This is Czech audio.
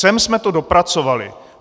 Sem jsme to dopracovali!